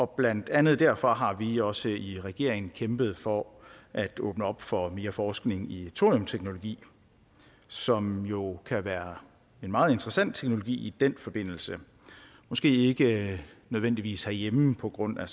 blandt andet derfor har vi også i regeringen kæmpet for at åbne op for mere forskning i thoriumteknologi som jo kan være en meget interessant teknologi i den forbindelse måske ikke nødvendigvis herhjemme på grund af